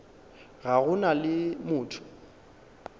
ga go na le motho